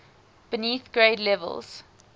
beneath grade levels